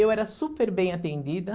Eu era super bem atendida.